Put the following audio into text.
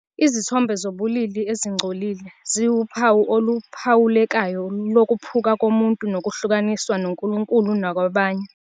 Izithombe zobulili ezingcolile ziwuphawu oluphawulekayo lokuphuka komuntu nokuhlukaniswa noNkulunkulu nakwabanye...